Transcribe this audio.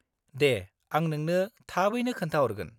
-दे, आं नोंनो थाबैनो खोन्थाहरगोन।